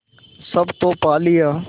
सब तो पा लिया